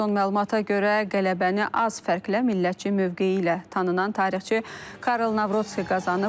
Son məlumata görə, qələbəni az fərqlə millətçi mövqeyi ilə tanınan tarixçi Karol Navrotski qazanıb.